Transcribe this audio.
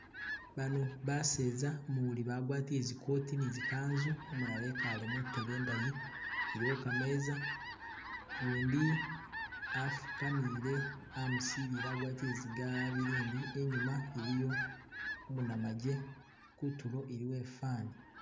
Baano baseza umuli bagwatile zi coat ne zi kanzu, umulala ekale muteebe indayi iliwo kameza , ukundi afukamile amusilile agwatile zi galuvindi inyuma iliyo umu namaje kutulo iliwo ifani.